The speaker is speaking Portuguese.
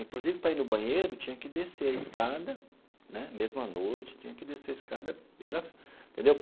Inclusive, para ir no banheiro, tinha que descer a escada né, mesmo à noite, tinha que descer a escada, e era entendeu?